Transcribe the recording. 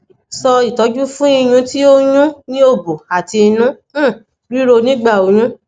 so itoju fun iyun ti o n yo ni obo ati inu um riro nigba oyun